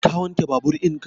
Ka wanke babur in ka?